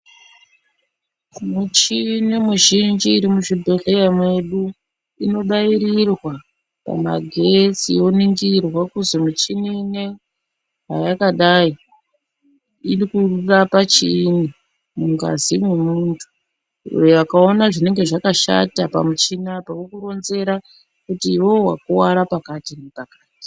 Michini muzhinji iri muzvibhedhleya mwedu, inobairirwa kumagetsi yoningirwa kuzi michini ineyi, hayakadai iri kurapa chiini ,mungazi mwomuntu. Akaona zvinenge zvakashata pamuchini apa, vokuronzera kuti iwowo wakuwara pakati nepakati.